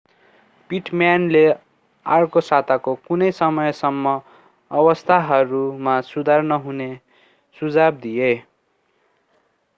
पिटम्यानले अर्को साताको कुनै समयसम्म अवस्थाहरूमा सुधार नहुने सुझाव दिए